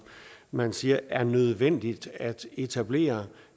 man siger er nødvendigt at etablere